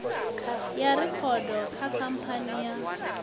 ya rekhodo kha khamphani ya